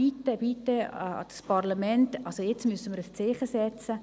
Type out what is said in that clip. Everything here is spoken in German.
Bitte, bitte, Parlament, jetzt müssen wir ein Zeichen setzen!